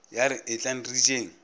ya re etlang re jeng